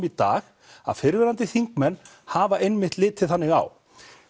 í dag að fyrrverandi þingmenn hafa einmitt litið þannig á